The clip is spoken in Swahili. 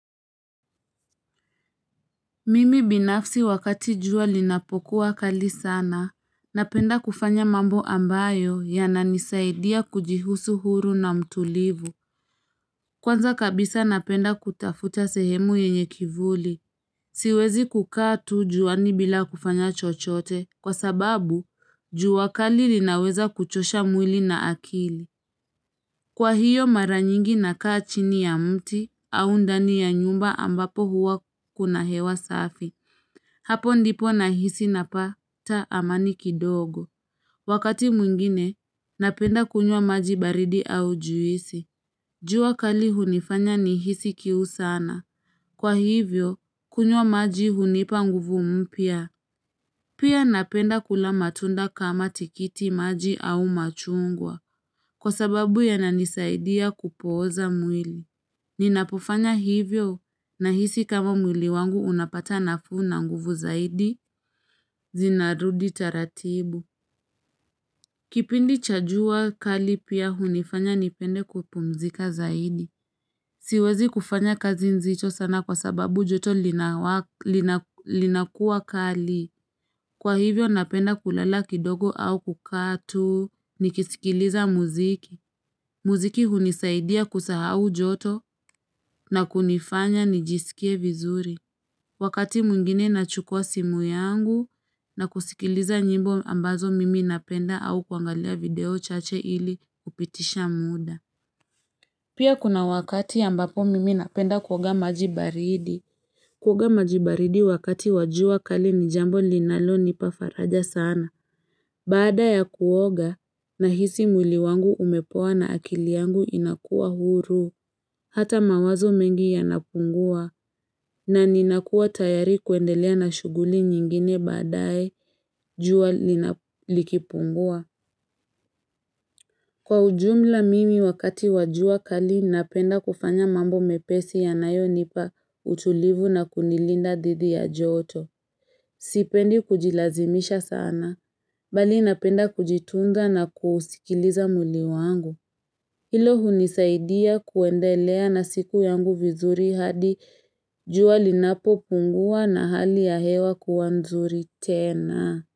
Mimi binafsi wakati jua linapokuwa kali sana, napenda kufanya mambo ambayo yananisaidia kujihisi huru na mtulivu. Kwanza kabisa napenda kutafuta sehemu yenye kivuli. Siwezi kukaa tu juani bila kufanya chochote, kwa sababu jua kali linaweza kuchosha mwili na akili. Kwa hiyo mara nyingi nakaa chini ya mti au ndani ya nyumba ambapo huwa kuna hewa safi. Hapo ndipo na hisi napata amani kidogo. Wakati mwingine, napenda kunywa maji baridi au juisi. Jua kali hunifanya nihisi kiu sana. Kwa hivyo, kunywa maji hunipa nguvu mpya. Pia napenda kula matunda kama tikiti maji au machungwa. Kwa sababu ya nanisaidia kupoza mwili. Ninapofanya hivyo na hisi kama mwili wangu unapata nafuna nguvu zaidi. Zinarudi taratibu Kipindi cha jua kali pia hunifanya nipende kupumzika zaidi Siwezi kufanya kazi nzicho sana kwa sababu joto linakuwa kali Kwa hivyo napenda kulala kidogo au kukaa tu Nikisikiliza muziki Muziki hunisaidia kusahau joto na kunifanya nijisikie vizuri Wakati mwingine nachukua simu yangu na kusikiliza nyimbo ambazo mimi napenda au kuangalia video chache ili kupitisha muda. Pia kuna wakati ambapo mimi napenda kuoga maji baridi. Kuoga maji baridi wakati wa jua kali ni jambo linalo nipa faraja sana. Baada ya kuoga nahisi mwili wangu umepoa na akili yangu inakuwa huru. Hata mawazo mengi yanapungua na ninakua tayari kuendelea na shuguli nyingine baadae jua lina likipungua. Kwa ujumla mimi wakati wajua kali napenda kufanya mambo mepesi ya nayo nipa utulivu na kunilinda didi ya joto. Sipendi kujilazimisha sana, bali napenda kujitunga na kusikiliza muli wangu. Hilo hunisaidia kuendelea na siku yangu vizuri hadi juali napo pungua na hali ya hewa kuwanzuri tena.